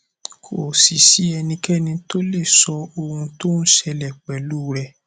kò sì sí ẹnikẹni tó lè sọ ohun tó ń ń ṣẹlẹ pẹlú u rẹ